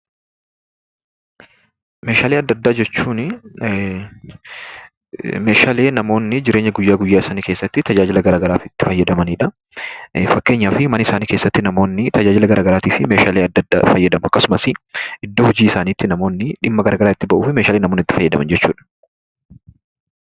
Meeshaalee adda addaa jechuun meeshaalee namoonni jireenya guyyaa guyyaa isaanii keessatti tajaajila garagaraaf itti fayyadamanidha. Fakkeenyaaf mana isaanii keessatti tajaajila garagaraati meeshaalee adda addaa fayyadamu. Akkasumas namoonni iddoo hojii isaaniitti dhimma garagaraa itti ba'uuf meeshaalee namoonni itti fayyadaman jechuudha.